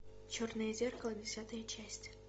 черное зеркало десятая часть